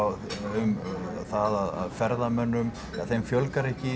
um það að ferðamönnum ja þeim fjölgar ekki